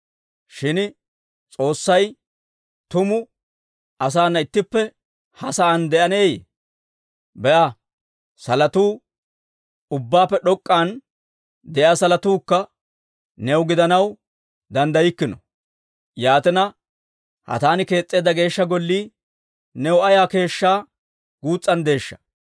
«Shin S'oossay tumu, asaana ittippe ha sa'aan de'aneeyye? Be'a, salotuu, ubbaappe d'ok'k'an de'iyaa salotuukka new gidanaw danddaykkino. Yaatina, ha taani kees's'eedda Geeshsha Gollii new ayaa keeshshaa guus's'anddeeshsha!